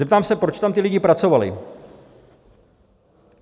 Zeptám se, proč tam ti lidé pracovali.